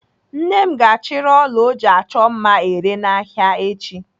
Nne m ga-achịrị ọla ọ ji achọ mma ere n'ahịa echi.